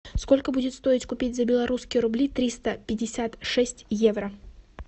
сколько будет стоить купить за белорусские рубли триста пятьдесят шесть евро